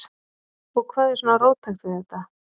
Og hvað er svona róttækt við þetta?